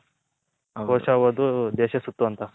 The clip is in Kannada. ಕೋಶ ಓದು ದೇಶ ಸುತ್ತು ಅಂತ ಆ